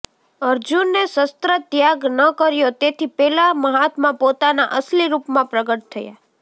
અર્જુને શસ્ત્રત્યાગ ન કર્યો તેથી પેલા મહાત્મા પોતાના અસલી રૂપમાં પ્રગટ થયા